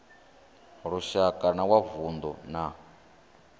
lushaka na wa vundu na